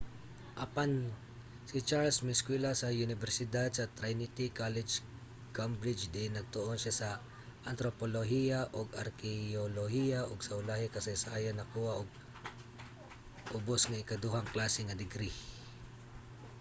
apan si charles miiskwela sa unibersidad sa trinity college cambridge diin nagtuon siya sa antropolohiya ug arkeyolohiya ug sa ulahi kasaysayan nakakuha og 2:2 ubos nga ikaduhang klase nga degree